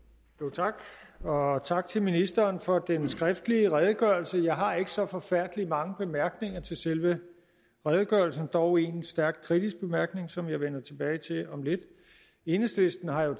tak og tak til ministeren for den skriftlige redegørelse jeg har ikke så forfærdelig mange bemærkninger til selve redegørelsen dog en stærk kritisk bemærkning som jeg vender tilbage til om lidt enhedslisten har jo